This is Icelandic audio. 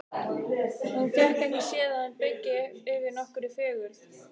Hún fékk ekki séð að hann byggi yfir nokkurri fegurð.